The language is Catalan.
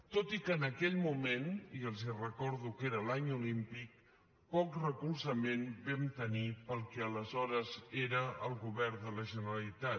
tot i que en aquell moment i els recordo que era l’any olímpic poc recolzament vam tenir pel que aleshores era el govern de la generalitat